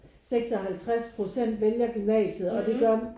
56 procent vælger gymnasiet og det gør